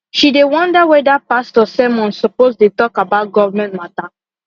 she dey wonder weda pastor sermon suppose dey talk about government matter